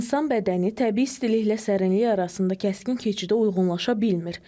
İnsan bədəni təbii istiliklə sərinlik arasında kəskin keçidə uyğunlaşa bilmir.